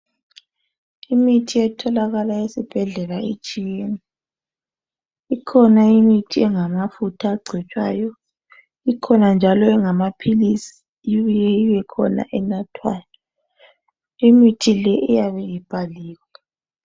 Imithi etholakala esibhedlela itshiyene. Ikhona imithi engamafutha angcotshwayo ikhona njalo engamaphilisi ibuye ibekhona enathwayo. Imithi leyi iyabe ibhaliwe.